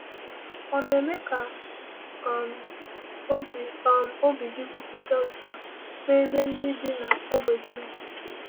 Ọ̀ na-eme ka um obi um obi gị kwụpụ otu a n’ebe ndị bi n’ógbè gị nọ?